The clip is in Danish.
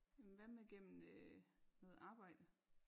Jamen hvad med gennem øh noget arbejde